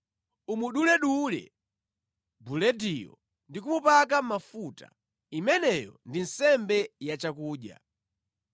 Umuduledule bulediyo ndi kumupaka mafuta; imeneyo ndi nsembe yachakudya.